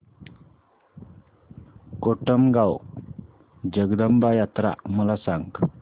कोटमगाव जगदंबा यात्रा मला सांग